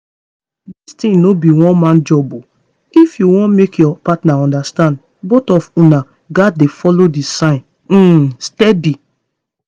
this thing no be one-man job o. if you wan make your partner understand both of una gats dey follow the signs um steady.